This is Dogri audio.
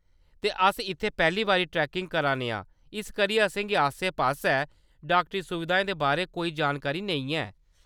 ते अस इत्थैं पैह्‌ली बारी ट्रैकिंग करा ने आं, इस करियै असेंगी आसै-पासै डाक्टरी सुविधाएं दे बारै कोई जानकारी नेईं ऐ।